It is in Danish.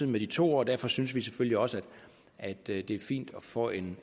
med de to år og derfor synes vi selvfølgelig også at det er fint at få en